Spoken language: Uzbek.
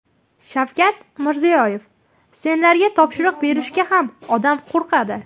Shavkat Mirziyoyev: Senlarga topshiriq berishga ham odam qo‘rqadi.